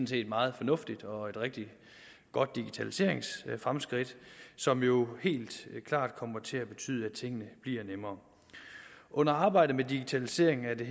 set meget fornuftigt og et rigtig godt digitaliseringsfremskridt som jo helt klart kommer til at betyde at tingene bliver nemmere under arbejdet med digitaliseringen er det